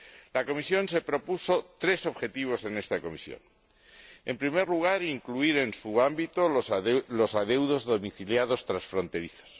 La Comisión se propuso tres objetivos en esta revisión en primer lugar, incluir en su ámbito los adeudos domiciliados transfronterizos